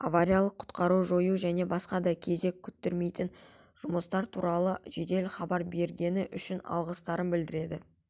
авариялық-құтқару жою және басқа да кезек күттірмейтін жұмыстар туралы жедел хабар бергені үшін алғыстарын білдірді